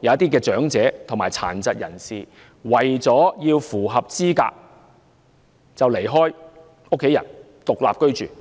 有些長者和殘疾人士為了符合資格而離開家人獨立居住。